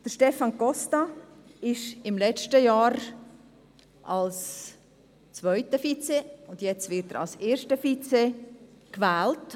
Stefan Costa wurde letztes Jahr als zweiter Vizepräsident und wird jetzt als erster Vizepräsident gewählt.